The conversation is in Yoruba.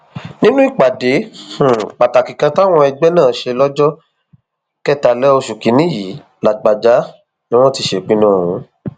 nínú ìpàdé um pàtàkì kan táwọn ẹgbẹ náà ṣe lọjọ um kẹtàlá oṣù kìínní yìí làbàjá ni wọn ti ṣèpinnu ọhún